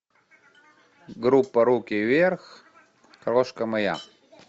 группа руки вверх крошка моя